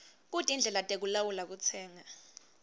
kutindlela tekulawula kutsenga